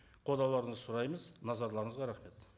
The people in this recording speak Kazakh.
қолдауларыңызды сұраймыз назарларыңызға рахмет